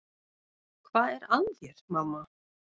Hvað er að þér, mamma?